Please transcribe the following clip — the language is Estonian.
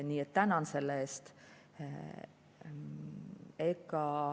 Nii et tänan selle eest.